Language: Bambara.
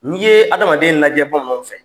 N'i ye adamaden lajɛ bamananw fɛ,